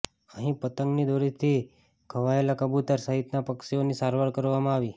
અહીં પતંગની દોરીથી ઘવાયેલા કબુતર સહિતના પક્ષીઓની સારવાર કરવામાં આવી